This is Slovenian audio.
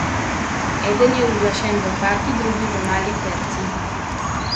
Eden je uglašen v kvarti, drugi v mali terci.